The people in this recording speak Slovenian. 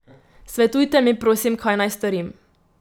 Svetujte mi, prosim, kaj naj storim.